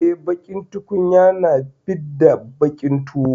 Eh, baƙin tukunya na fidda baƙin tuwo.